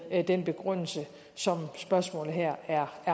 den begrundelse som spørgsmålet her er